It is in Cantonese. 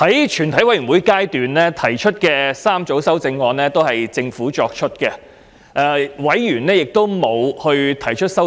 在全體委員會階段提出的3組修正案均由政府提出，委員並沒有提出任何修正案。